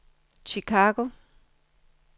Chicago